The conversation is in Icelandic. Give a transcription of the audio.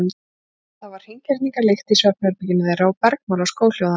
Það var hreingerningarlykt í svefnherberginu þeirra og bergmál af skóhljóði hans.